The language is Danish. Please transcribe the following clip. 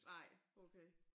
Nej okay